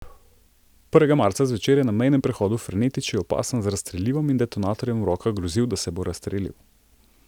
Prvega marca zvečer je na mejnem prehodu Fernetiči opasan z razstrelivom in z detonatorjem v rokah grozil, da se bo razstrelil.